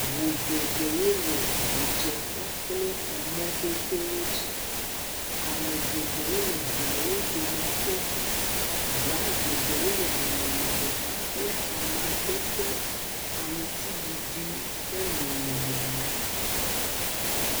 Ŋu geɖewo le ŋudze ƒe le mɔdodowo dzi. Ame geɖe wole ŋuawo dome tom. Ŋu geɖewo le amadede aŋutiɖiɖi ƒe nɔnɔme me.